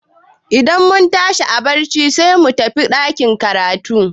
Idan mun tashi a barci sai mu tafi ɗakin karatun.